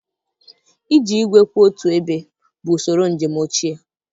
Iji igwe kwụ otu ebe bụ usoro njem ochie.